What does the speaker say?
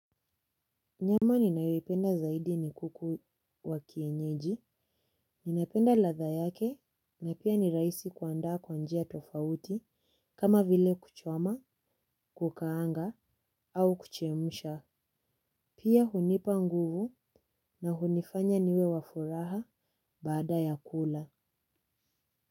Nyama ninayependa zaidi ni kuku wa kienyeji, ninapenda ladha yake na pia ni rahisi kuandaa kwa njia tofauti kama vile kuchoma, kukaanga au kuchemsha. Pia hunipa nguvu na hunifanya niwe wafuraha baada ya kula.